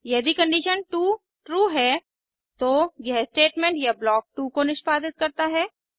यदि condition 2 true है तो यह स्टेटमेंट या ब्लॉक 2 को निष्पादित करता है